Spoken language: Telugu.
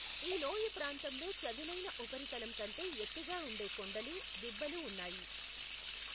ఈ లోయ ప్రాంతంలో చదునైన ఉపరితలం కంటే ఎత్తుగా ఉండే కొండలు, దిబ్బలు ఉన్నాయి.